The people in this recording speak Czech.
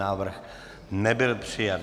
Návrh nebyl přijat.